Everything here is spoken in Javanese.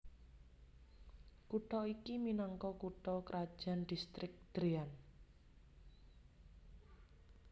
Kutha iki minangka kutha krajan Distrik Dréan